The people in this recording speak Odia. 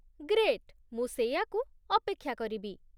ଗ୍ରେଟ୍, ମୁଁ ସେଇଆକୁ ଅପେକ୍ଷା କରିବି।